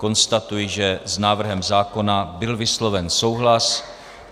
Konstatuji, že s návrhem zákona byl vysloven souhlas.